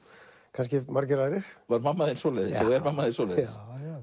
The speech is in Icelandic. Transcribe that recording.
kannski margir aðrir var mamma þín svoleiðis eða er mamma því svoleiðis